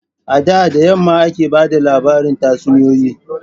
A da da yamma ake ba da labarin tatsuniyoyi.